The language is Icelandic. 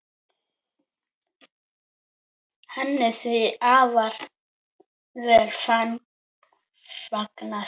Henni því afar vel fagnað.